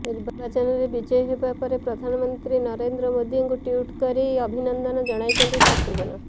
ନିର୍ବାଚନରେ ବିଜୟୀ ହେବା ପରେ ପ୍ରଧାନମନ୍ତ୍ରୀ ନରେନ୍ଦ୍ର ମୋଦିଙ୍କୁ ଟ୍ୱିଟ କରି ଅଭିନନ୍ଦନ ଜଣାଇଛନ୍ତି ଶତ୍ରୁଘ୍ନ